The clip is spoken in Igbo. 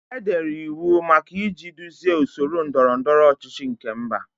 Edere iwu maka iji duzie usoro ndọrọ ndọrọ ọchịchị nke mba.